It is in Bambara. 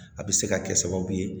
A bɛ se ka kɛ sababu ye